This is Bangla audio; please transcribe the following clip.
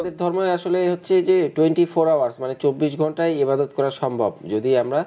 আমাদের ধর্মে আসলে হচ্ছে যেয়ে twenty four hours মানে চব্বিশ ঘণ্টাই ইবাদত করা সম্ভব যদি আমরা